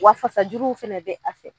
Wa fasa juruw fɛnɛ bɛ a fɛ.